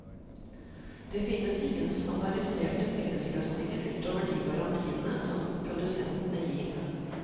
Det finnes ingen standardiserte fellesløsninger utover de garantiene som produsentene gir.